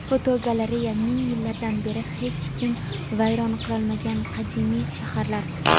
Fotogalereya: Ming yillardan beri hech kim vayron qilolmagan qadimiy shaharlar.